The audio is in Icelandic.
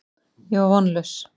Ég var vonlaus.